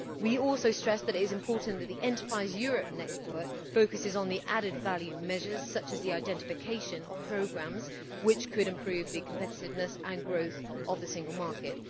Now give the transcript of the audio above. We also stress that it is important that the Enterprise Europe Network focus on added value measures such as the identification of programmes which could improve the competitiveness of and growth in the single market.